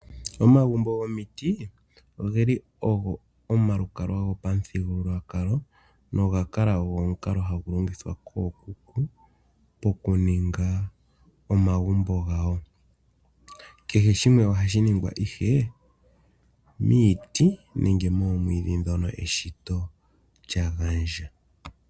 Omagumbo gomiti oge li ogo omalukalwa gopamuthigululwakalo noga kala ogo omukalo hagu longithwa kookuku okuninga omagumbo gawo. Kehe shimwe ohashi ningwa ihe miiti nenge moomwiidhi ndhono eshito lya gandja.